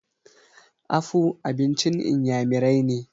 afu abincin inyamirai ne